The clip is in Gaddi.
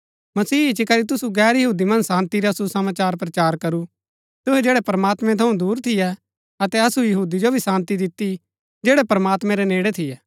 मसीह इच्ची करी तुसु गैर यहूदी मन्ज शान्ती रा सुसमाचार प्रचार करू तुहै जैड़ै प्रमात्मैं थऊँ दूर थियै अतै असु यहूदी जो भी शान्ती दिती जैड़ै प्रमात्मैं रै नेड़ै थियै